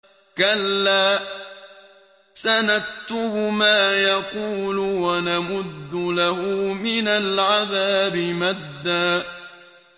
كَلَّا ۚ سَنَكْتُبُ مَا يَقُولُ وَنَمُدُّ لَهُ مِنَ الْعَذَابِ مَدًّا